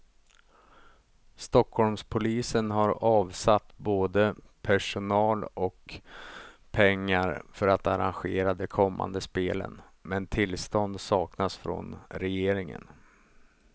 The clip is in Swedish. Stockholmspolisen har avsatt både personal och pengar för att arrangera de kommande spelen, men tillstånd saknas från regeringen.